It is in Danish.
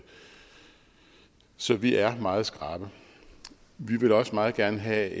så vi er meget skrappe vi ville også meget gerne have